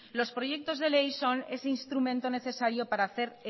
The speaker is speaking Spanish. los proyectos de ley son ese instrumento necesario para hacer